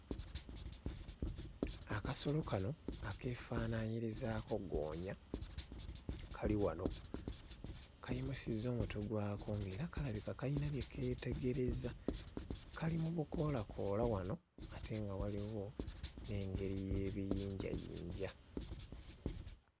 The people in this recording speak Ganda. Akasolo kano akeefaananyirizaako ggoonya kali wano kayimusizza omutwe gwako ng'era kalabika kayina bye keetegereza, kali mu bukoolakoola wano ate nga waliwo n'engeri y'ebiyinjayinja